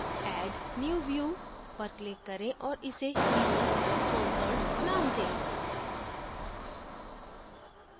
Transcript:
add new view पर click करें और इसे events sponsored name दें